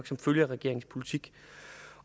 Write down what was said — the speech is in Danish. som følge af regeringens politik